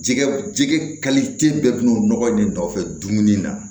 Jɛgɛ jɛgɛ bɛɛ bɛ n'o nɔgɔ de nɔfɛ dumuni na